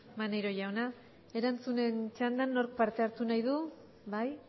maneiro jauna erantzunen txandan nork parte hartu nahi du bai